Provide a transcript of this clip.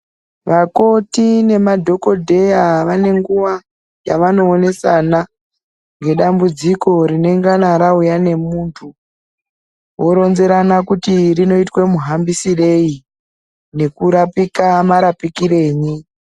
Vakoti nemadhokodheya vane nguwa yevanoonesana ngedambudziko rinenge rauya nemuntu voronzerana kuti rinoitwe muhambisirei ngekurapika marapikirenyi.